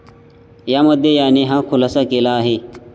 यामध्ये याने हा खुलासा केला आहे.